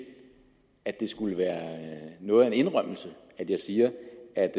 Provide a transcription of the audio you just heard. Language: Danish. at det skulle være noget af en indrømmelse at jeg siger at